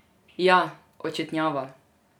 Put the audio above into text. Ja, očetnjava!